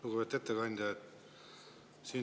Lugupeetud ettekandja!